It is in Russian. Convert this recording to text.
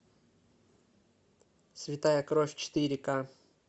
святая кровь четыре ка